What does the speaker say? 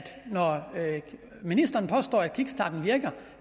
når ministeren påstår at kickstarten virker